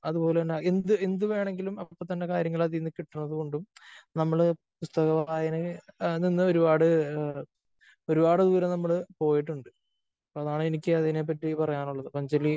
അത്പോലെ തന്നെ എന്തു എന്തു വേണമെങ്കിലും അപ്പോ തന്നെ കാര്യങ്ങള് അതിൽ നിന്ന് കിട്ടുന്നത് കൊണ്ടും നമ്മള് പുസ്തക വായനയിൽ നിന്ന് ഒരുപാട് ഒരുപാട് ദൂരം നമ്മള് പോയിട്ടുണ്ട്. അതാണ് എനിക്ക് അതിനെ പറ്റി പറയാനുള്ളത്. അപ്പോ അഞ്ജലി